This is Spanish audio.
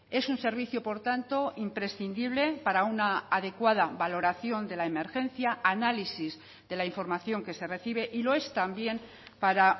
es un servicio por tanto imprescindible para una adecuada valoración de la emergencia análisis de la información que se recibe y lo es también para